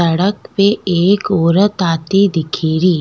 सड़क पे एक औरत आती दिखेरी।